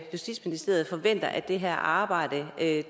justitsministeriet forventer at det her arbejde er